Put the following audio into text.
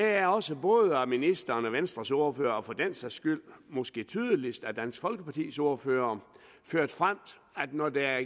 er også både af ministeren og af venstres ordfører og for den sags skyld måske tydeligst af dansk folkepartis ordfører ført frem at når der